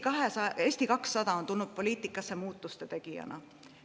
Eesti 200 on tulnud poliitikasse muutuste tegijana.